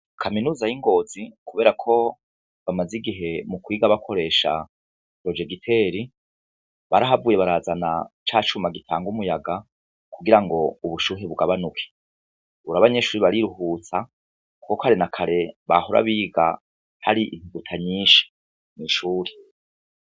Kaminuza y'Ingozi kuberako bamaze igihe mukwiga bakoresha projegiteri narahavuye barazana cacuma gutanga umuyaga kugirango ubushuhe bugabanuke Ubu rero abanyeshure bariruhutsa, kuko kare nakare bahora biga hari intuguta nyishi mwishure.